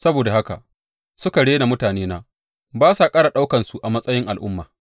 Saboda haka suka rena mutanena ba sa ƙara ɗaukansu a matsayin al’umma.